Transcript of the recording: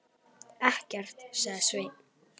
Ekkert, sagði Sveinn.